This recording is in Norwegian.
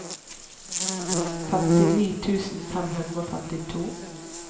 femtini tusen fem hundre og femtito